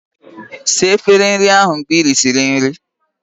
Saa efere ndị ahụ mgbe ị risịrị nri!